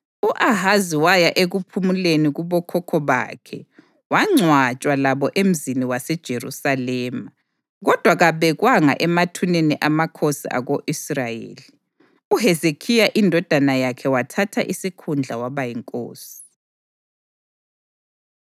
U-Ahazi waya ekuphumuleni kubokhokho bakhe wangcwatshwa labo emzini waseJerusalema, kodwa kabekwanga emathuneni amakhosi ako-Israyeli. UHezekhiya indodana yakhe wathatha isikhundla waba yinkosi.